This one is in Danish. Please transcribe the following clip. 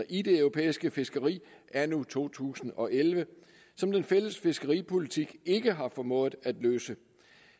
i det europæiske fiskeri anno to tusind og elleve som den fælles fiskeripolitik ikke har formået at løse